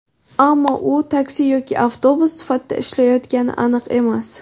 Ammo u taksi yoki avtobus sifatida ishlatilayotgani aniq emas.